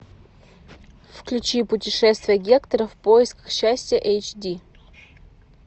включи путешествие гектора в поисках счастья эйч ди